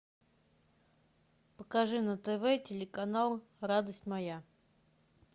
покажи на тв телеканал радость моя